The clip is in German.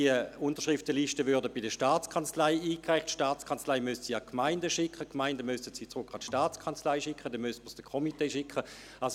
Die Unterschriften würden bei der STA eingereicht, die STA müsste sie an die Gemeinden schicken, die Gemeinden müssten sie zurück an die STA schicken, und dann müsste man sie dem Komitee schicken.